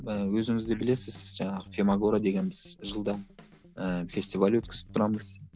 ы өзіңіз де білесіз жаңағы фемагора деген біз жылда ыыы фестиваль өткізіп тұрамыз